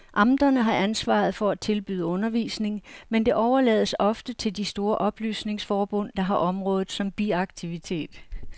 Amterne har ansvaret for at tilbyde undervisning, men det overlades ofte til de store oplysningsforbund, der har området som biaktivitet.